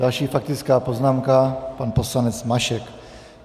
Další faktická poznámka - pan poslanec Mašek.